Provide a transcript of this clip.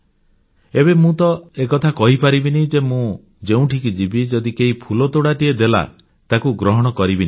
ଏବେ ମୁଁ ତ ଏକଥା କହିପାରିବିନି ଯେ ମୁଁ ଯେଉଁଠିକି ଯିବି ଯଦି କେହି ଫୁଲତୋଡ଼ାଟିଏ ଦେଲା ମୁଁ ତାକୁ ଗ୍ରହଣ କରିବିନି ବୋଲି